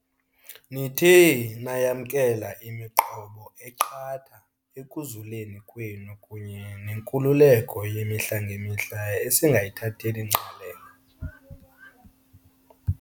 Nithe nayamkela imiqobo eqatha ekuzuleni kwenu kunye nenkululeko yemihla ngemihla esingayithatheli ngqalelo.